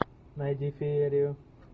найди феерию